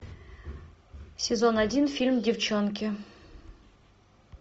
сезон один фильм девчонки